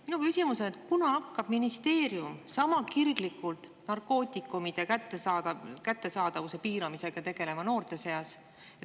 Minu küsimus on, kunas hakkab ministeerium sama kirglikult tegelema narkootikumide kättesaadavuse piiramisega noorte seas.